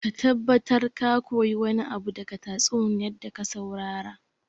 Ka tabbatar ka koyi wani abu daga tatsuniyar da ka saurara